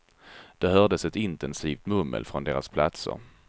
Det hördes ett intensivt mummel från deras platser.